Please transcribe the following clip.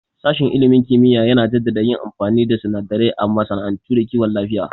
Sashen ilimin kimiyya yana jaddada yin amfani da sunadarai a masana'antu da kiwon lafiya